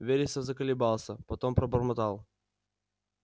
вересов заколебался потом пробормотал